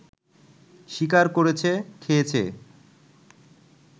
শিকার করেছে, খেয়েছে